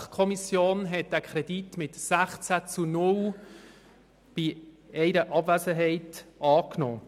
Die BaK hat diesen mit 16 zu 0 Stimmen bei einer Abwesenheit angenommen.